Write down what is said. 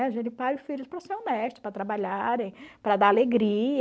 Né? A gente pare os filhos para ser honesto, para trabalharem, para dar alegria.